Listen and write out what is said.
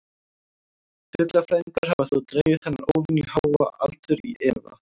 Fuglafræðingar hafa þó dregið þennan óvenju háa aldur í efa.